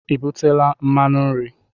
I butela mmanụ nri?